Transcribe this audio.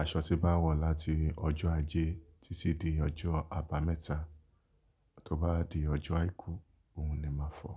Aṣọ tí bá wọ̀ láti ọjọ́ ajé títí di ọjọ́ àbámẹ́ta, tó bá di ọjọ́ àìkú òun ni màá fọ.